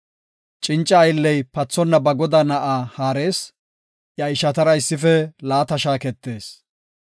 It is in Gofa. Cinca aylley pathonna ba godaa na7aa haarees; iya ishatara issife laata shaaketees.